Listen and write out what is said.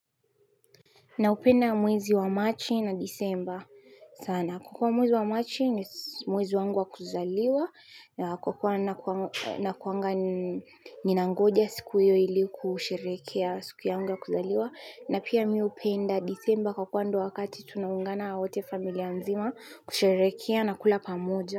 Naupenda mwezi wa Marchi na December sana. Kukua mwezi wa Marchi ni mwezi wangu wa kuzaliwa na kukua nakuanga ni nangoja siku iyo ili kusherekea siku yangu ya kuzaliwa na pia mi upenda December kukua ndo wakati tunaungana wote familia mzima kusherekea na kula pamoja.